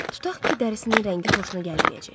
Tutaq ki, dərisinin rəngi xoşuna gəlməyəcək.